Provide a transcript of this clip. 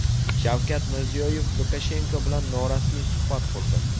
Shavkat Mirziyoyev Lukashenko bilan norasmiy suhbat qurdi.